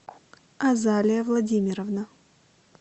азалия владимировна